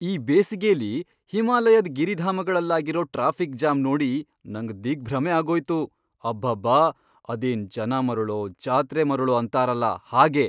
ಈ ಬೇಸಿಗೆಲಿ ಹಿಮಾಲಯದ್ ಗಿರಿಧಾಮಗಳಲ್ಲಾಗಿರೋ ಟ್ರಾಫಿಕ್ ಜಾಮ್ ನೋಡಿ ನಂಗ್ ದಿಗ್ಭ್ರಮೆ ಆಗೋಯ್ತು. ಅಬ್ಬಬ್ಬಾ! ಅದೇನ್ ಜನ ಮರುಳೋ ಜಾತ್ರೆ ಮರುಳೋ ಅಂತಾರಲ ಹಾಗೆ!